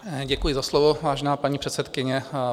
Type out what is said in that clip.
Děkuji za slovo, vážená paní předsedkyně.